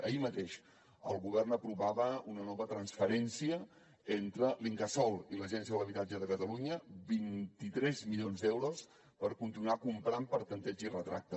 ahir mateix el govern aprovava una nova transferència entre l’incasòl i l’agència de l’habitatge de catalunya de vint tres milions d’euros per continuar comprant per tanteig i retracte